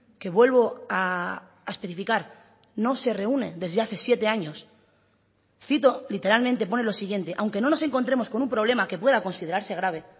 que vuelvo a especificar no se reúne desde hace siete años cito literalmente pone lo siguiente aunque no nos encontremos con un problema que pueda considerarse grave